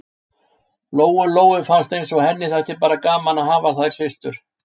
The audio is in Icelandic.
Lóu-Lóu fannst eins og henni þætti bara gaman að hafa þær systur.